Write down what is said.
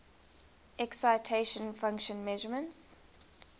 excitation function measurements